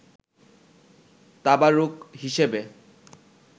তাবারুক হিসাবে